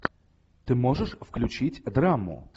ты можешь включить драму